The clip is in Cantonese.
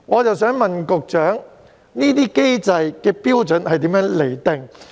我想問局長，有關機制的標準如何釐定？